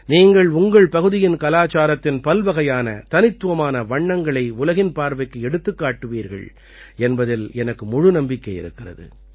நீங்கள் உங்கள் பகுதியின் கலாச்சாரத்தின் பல்வகையான தனித்துவமான வண்ணங்களை உலகின் பார்வைக்கு எடுத்துக் காட்டுவீர்கள் என்பதில் எனக்கு முழு நம்பிக்கை இருக்கிறது